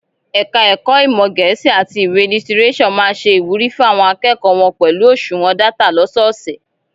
Ẹka ẹ̀kọ́ ìmọ gẹẹsi àti ìwé lítírésò má se ìwúrí fún àwọn akẹ́kọ̀ọ́ wọn pẹlú oṣuwọn data lọ́sọọsẹ̀.